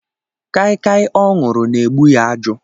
Kaikai ọ ṅụrụ na-egbu ya ajụ